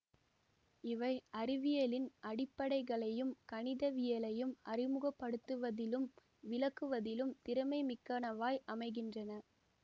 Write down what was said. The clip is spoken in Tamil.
இவை அறிவியலின் அடிப்படைகளையும் கணிதவியலையும் அறிமுகப்படுத்துவதிலும் விளக்குவதிலும் திறமை மிக்கனவாய் அமைகின்றன